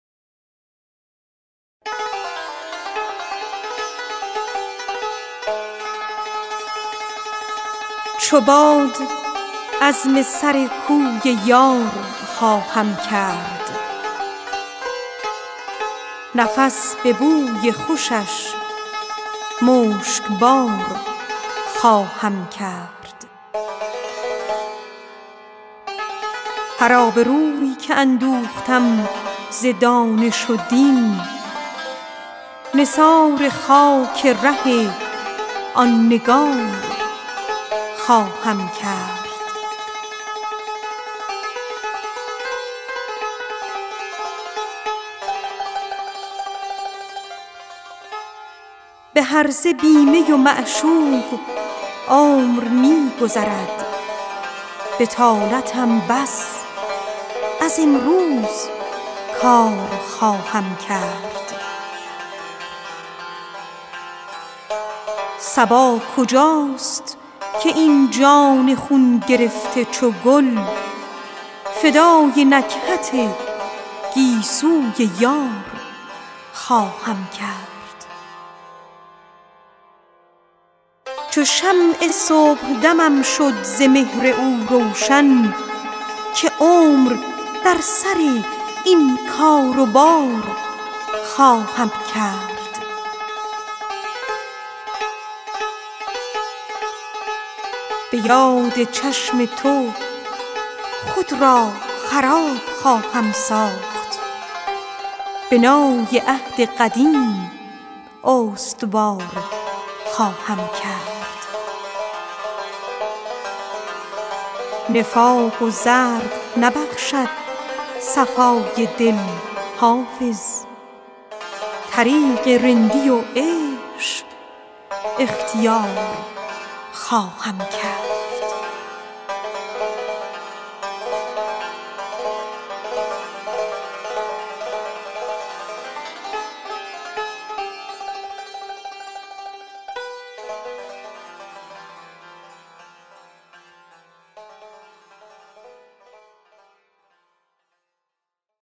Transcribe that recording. چو باد عزم سر کوی یار خواهم کرد نفس به بوی خوشش مشکبار خواهم کرد به هرزه بی می و معشوق عمر می گذرد بطالتم بس از امروز کار خواهم کرد هر آبروی که اندوختم ز دانش و دین نثار خاک ره آن نگار خواهم کرد چو شمع صبحدمم شد ز مهر او روشن که عمر در سر این کار و بار خواهم کرد به یاد چشم تو خود را خراب خواهم ساخت بنای عهد قدیم استوار خواهم کرد صبا کجاست که این جان خون گرفته چو گل فدای نکهت گیسوی یار خواهم کرد نفاق و زرق نبخشد صفای دل حافظ طریق رندی و عشق اختیار خواهم کرد